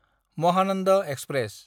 Mahanand express